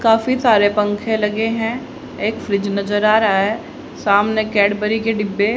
काफी सारे पंखे लगे हैं एक स्विच नजर आ रहा है सामने कैडबरी के डिब्बे--